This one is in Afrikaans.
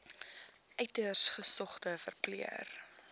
uiters gesogde verpleër